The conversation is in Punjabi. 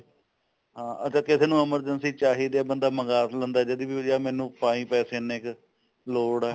ਹਾਂ ਅਗਰ ਕਿਸੀ ਨੂੰ emergency ਚਾਹੀਦੇ ਬੰਦਾ ਮੰਗਾ ਲੇੰਦਾ ਜਦੀ ਵੀ ਵੀਰੇ ਮੈਨੂੰ ਪਾਈ ਪੈਸੇ ਇੰਨੇ ਕ ਲੋੜ ਐ